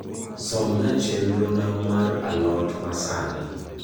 somna chenro na mar a lot ma sani